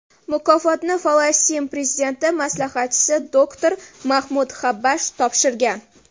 Mukofotni Falastin prezidenti maslahatchisi doktor Mahmud Xabbash topshirgan.